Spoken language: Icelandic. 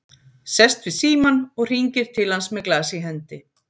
Sest við símann og hringir til hans með glas í hendi.